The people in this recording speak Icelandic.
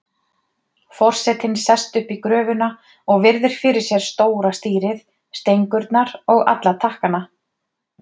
Forsetinn sest upp í gröfuna og virðir fyrir sér stóra stýrið, stengurnar og alla takkana.